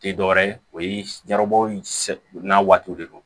Tɛ dɔwɛrɛ ye o ye garbabu in sawaw de don